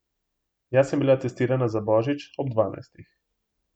Jaz sem bila testirana za božič ob dvanajstih.